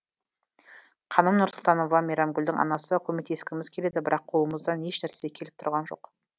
қаным нұрсұлтанова мейрамгүлдің анасы көмектескіміз келеді бірақ қолымыздан ешнәрсе келіп тұрған жоқ